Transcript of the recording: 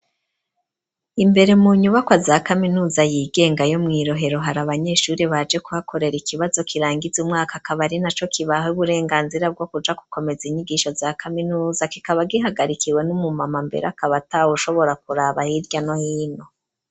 Imbere mu nyubakwa za kaminuza yigenga yo mwirohero ,hari abanyeshuri baje kuhakorera ikibazo kirangize umwaka, akaba ari na co kibaha uburenganzira bwo kuja kukomeza inyigisho za kaminuza ,kikaba gihagarikiwe n'umu mama mbere akaba atawe ushobora kuraba hirya no hino.